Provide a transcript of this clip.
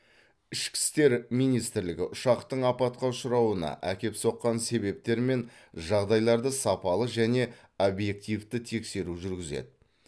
ішкі істер министрлігі ұшақтың апатқа ұшырауына әкеп соққан себептер мен жағдайларды сапалы және объективті тексеру жүргізеді